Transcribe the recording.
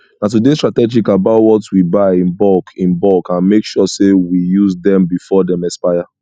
na to dey strategic about what we buy in bulk in bulk and make sure say we use dem before dem expire